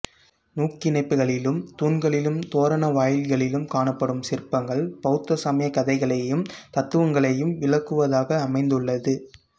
நூக்கிணைப்புகளிலும் தூண்களிலும் தோரண வாயில்களிலும் காணப்படும் சிற்பங்கள் பௌத்த சமய கதைகளையும் தத்துவங்களையும் விளக்குவதாக அமைந்துள்ளது